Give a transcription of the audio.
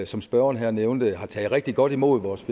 som spørgeren her nævnte har taget rigtig godt imod vores